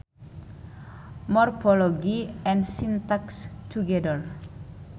Morphology and syntax together